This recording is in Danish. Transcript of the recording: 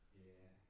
Ja